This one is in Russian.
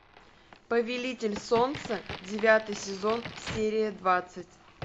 повелитель солнца девятый сезон серия двадцать